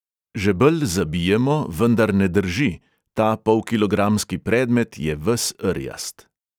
Žebelj zabijemo, vendar ne drži, ta polkilogramski predmet je ves rjast.